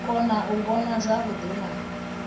kona u vhona zwavhuḓi na